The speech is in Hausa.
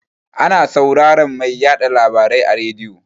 Ana sauraran mai yaɗa labarai a rediyo.